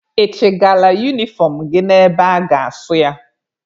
Ị chịgala unifọm gị na-ebe a ga-asụ ya?